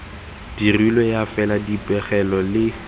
dirilwe ya fela dipegelo le